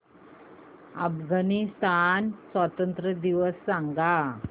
अफगाणिस्तान स्वातंत्र्य दिवस सांगा